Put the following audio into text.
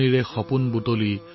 তোমাৰ বাবে সপোন ৰচিব